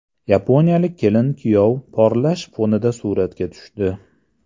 Yaponiyalik kelin-kuyov portlash fonida suratga tushdi .